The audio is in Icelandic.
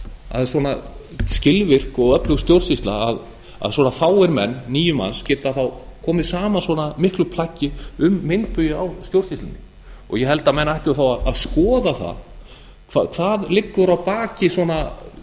að svona skilvirk og öflug stjórnsýsla að svona fáir menn níu manns geta komið saman svona miklu plaggi um meinbugi á stjórnsýslunni og ég held að menn ættu þá að skoða það hvað liggur að